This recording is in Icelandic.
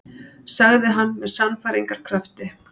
sagði hann með sannfæringarkrafti.